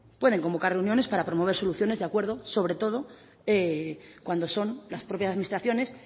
pueden convocar reuniones para promover soluciones de acuerdo sobre todo cuando son las propias administraciones